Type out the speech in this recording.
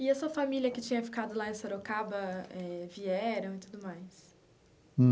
E a sua família que tinha ficado lá em Sorocaba eh, vieram e tudo mais?